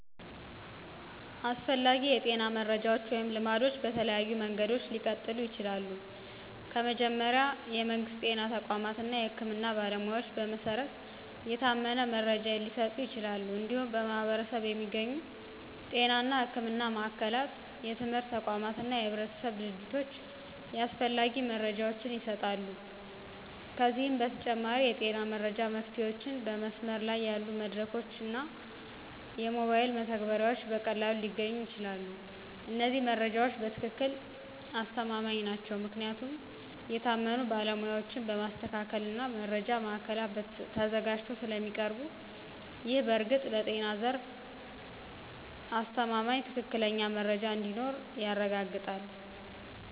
አስፈላጊ የጤና መረጃዎች ወይም ልማዶች በተለያዩ መንገዶች ሊቀጥሉ ይችላሉ። ከመጀመሪያ፣ የመንግስት ጤና ተቋማት እና የህክምና ባለሞያዎች በመሰረት የታመነ መረጃ ሊሰጡ ይችላሉ። እንዲሁም በማኅበረሰብ የሚገኙ ጤና እና ሕክምና ማዕከላት፣ የትምህርት ተቋማት እና የህብረተሰብ ድርጅቶች ያስፈላጊ መረጃ ይሰጣሉ። ከዚህ በተጨማሪ፣ የጤና መረጃ መፍትሄዎችን በመስመር ላይ ያሉ መድረኮች እና ሞባይል መተግበሪያዎች በቀላሉ ሊገኙ ይችላሉ። እነዚህ መረጃዎች በትክክል ተማማኝ ናቸው ምክንያቱም የታመኑ ባለሞያዎች በማስተካከል እና በመረጃ ማዕከላት ተዘጋጅተው ስለሚያቀርቡ ነው። ይህ በእርግጥ ለጤና ዘርፍ የተማማኝና ትክክለኛ መረጃ እንዲኖር ያረጋግጣል።